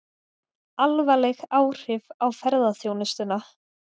Alvarleg áhrif á ferðaþjónustuna